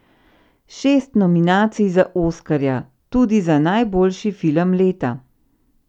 Šest nominacij za oskarja, tudi za najboljši film leta!